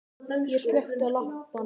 Ég slökkti á lampanum.